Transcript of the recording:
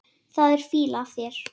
Það er fýla af þér.